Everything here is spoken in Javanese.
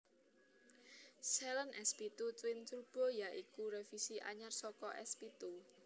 Saleen S pitu Twin Turbo ya iku revisi anyar saka S pitu